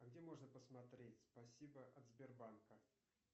а где можно посмотреть спасибо от сбербанка